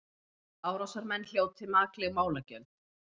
Árásarmenn hljóti makleg málagjöld